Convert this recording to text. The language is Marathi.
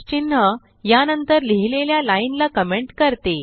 चिन्ह या नंतर लिहिलेल्या लाइन ला कमेंट करते